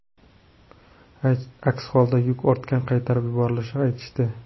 Aks holda yuk ortga qaytarib yuborilishini aytishdi.